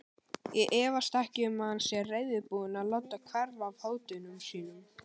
Ég efast ekki um, að hann sé reiðubúinn að láta verða af hótunum sínum.